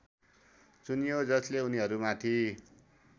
चुनियो जसले उनीहरूमाथि